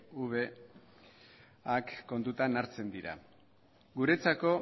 pcv kontutan dira guretzako